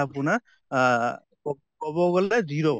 আপোনাৰ আহ ক কʼব গʼলে